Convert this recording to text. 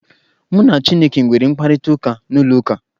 Mụ na chineke nwere mkparịtaụka n'ụlọ ụka.